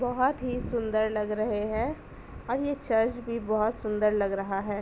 बोहत ही सुंदर लग रहे हैं और ये चर्च भी बोहोत सुंदर लग रहा है।